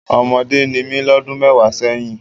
Ọmọdé ni mí lọ́dún mẹ́wàá sẹ́yìn.